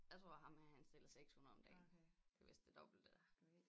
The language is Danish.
Jeg tror ham her han stiller 600 om dagen det vist det dobbelte